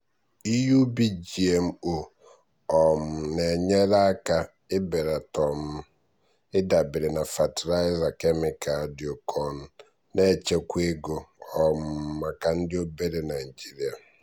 ihe ubi gmo um na-enyere aka ibelata um ịdabere na fatịlaịza kemịkalụ dị oke ọnụ na-echekwa ego um maka ndị obere naijiria.